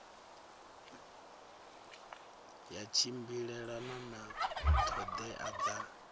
ya tshimbilelana na ṱhoḓea dza